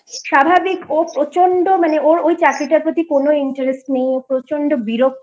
স্বাভাবিক ওর প্রচন্ড মানে ওর ওই চাকরিটার প্রতি কোনো Interest নেই মানে ও প্রচন্ড বিরক্ত